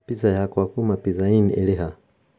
Pizza yakwa kuma pizza inn ĩrĩ ha?